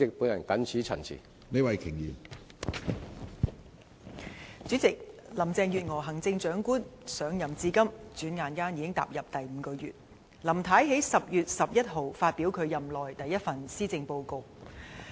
主席，行政長官林鄭月娥上任至今轉眼已踏入第五個月，她在10月11日發表其任內第一份施政報告。